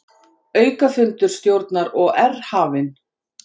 Aukafundur stjórnar OR hafinn